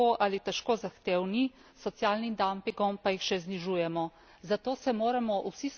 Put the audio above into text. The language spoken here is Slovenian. Pogoji dela so že tako ali težko zahtevni, s socialnim dampingom pa jih še znižujemo.